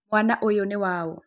Mwana ũyũ nĩ waũ?